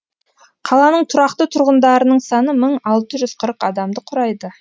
қаланың тұрақты тұрғындарының саны мың алты жүз қырық адамды құрайды